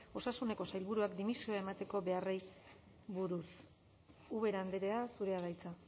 osasuneko sailburuak dimisioa emateko beharrari buruz ubera andrea zurea da hitza